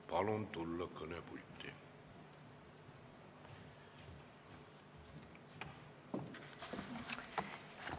Palun tulla kõnepulti!